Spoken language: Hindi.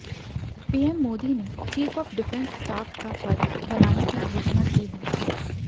पीएम मोदी ने चीफ ऑफ डिफेंस स्टाफ का पद बनाने की घोषणा की है